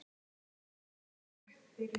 Það fyrsta.